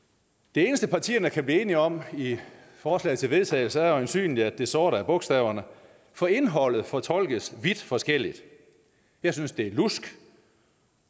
det eneste partierne kan blive enige om i i forslaget til vedtagelse er øjensynlig at det sorte er bogstaverne for indholdet fortolkes vidt forskelligt jeg synes det er lusk